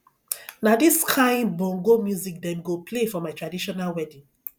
na dis kain bongo music dem go play for my traditional wedding